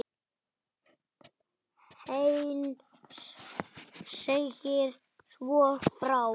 Heinz segir svo frá: